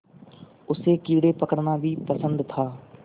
उसे कीड़े पकड़ना भी पसंद था